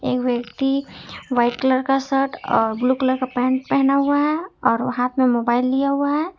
एक व्यक्ति white colour का शर्ट और ब्लू कलर का पेंट पहना हुआ है और हाथ में मोबाइल लिया हुआ है।